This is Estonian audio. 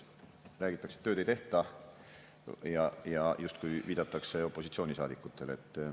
Räägitakse, et tööd ei tehta, ja justkui viidatakse opositsioonisaadikutele.